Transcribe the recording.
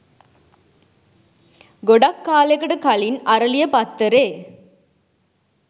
ගොඩක් කාලෙකට කලින් "අරලිය" පත්තරේ